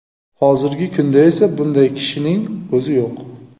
Hozirgi kunda esa bunday kishining o‘zi yo‘q.